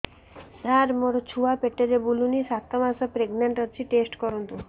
ସାର ମୋର ଛୁଆ ପେଟରେ ବୁଲୁନି ସାତ ମାସ ପ୍ରେଗନାଂଟ ଅଛି ଟେଷ୍ଟ କରନ୍ତୁ